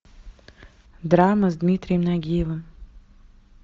драма с дмитрием нагиевым